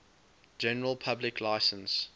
general public license